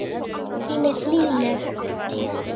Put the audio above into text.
Hún er hlýleg.